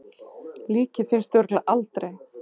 Líkið finnst örugglega aldrei.